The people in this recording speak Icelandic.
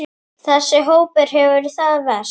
Þessi hópur hefur það verst.